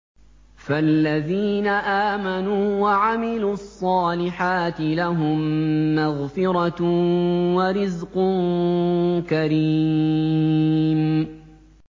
فَالَّذِينَ آمَنُوا وَعَمِلُوا الصَّالِحَاتِ لَهُم مَّغْفِرَةٌ وَرِزْقٌ كَرِيمٌ